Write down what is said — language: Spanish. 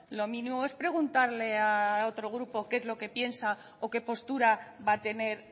lo mínimo es preguntarle a otro grupo qué es lo que piensa o qué postura va a tener